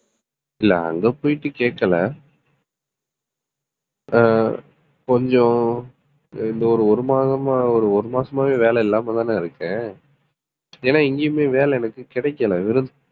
இல்ல அங்க போயிட்டு கேக்கல ஹம் கொஞ்சம் இந்த ஒரு ஒரு மாதமா ஒரு ஒரு மாசமாவே வேலை இல்லாமதானே இருக்கேன். ஏன்னா எங்கேயுமே வேலை எனக்கு கிடைக்கலை வெறும்